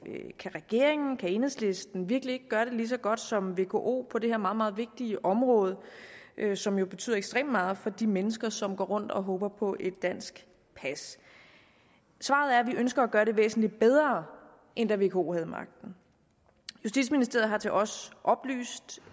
regeringen kan enhedslisten virkelig ikke gøre det lige så godt som vko på det her meget vigtige område som jo betyder ekstremt meget for de mennesker som går rundt og håber på et dansk pas svaret er at vi ønsker at gøre det væsentligt bedre end da vko havde magten justitsministeriet har til os oplyst